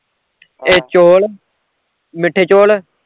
ਇੱਕ ਚੋਲ ਮਿੱਠੇ ਚੋਲ